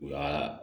U ka